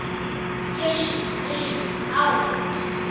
eshu eshu awu